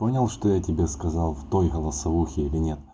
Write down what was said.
понял что я тебе сказал в той голосовухе или нет